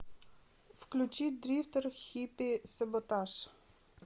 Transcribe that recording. включи дрифтер хиппи саботаж